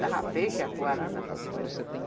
Dava peixe, atuarana, essas coisas.